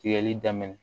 Tigɛli daminɛ